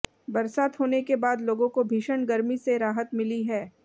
बरसात होने के बाद लोगों को भीषण गर्मी से राहत मिली है